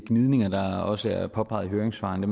gnidninger der også er påpeget i høringssvarene